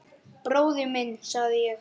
Bróðir minn, sagði ég.